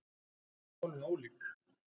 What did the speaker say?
Hún segir málin ólík.